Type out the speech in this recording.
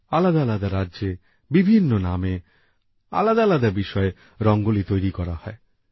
আলাদা আলাদা রাজ্যে বিভিন্ন নামে আলাদা আলাদা বিষয়ে রঙ্গোলি তৈরি করা হয়